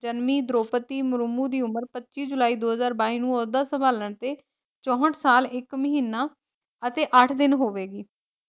ਜਨਮੀ ਦਰੌਪਦੀ ਮੁਰੁਮੁ ਦੀ ਉਮਰ ਪੱਚੀ ਜੁਲਾਈ ਦੋ ਹਾਜ਼ਰ ਬਾਈ ਨੂੰ ਓਹਦਾ ਸੰਭਾਲਣ ਤੇ ਚੌਹਟ ਸਾਲ ਇੱਕ ਮਹੀਨਾ ਅਤੇ ਅੱਠ ਦਿਨ ਹੋਵੇਗੀ ।